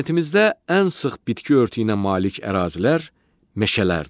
Planetimizdə ən sıx bitki örtüyünə malik ərazilər meşələrdir.